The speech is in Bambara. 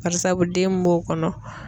Barisabu den min b'o kɔnɔ.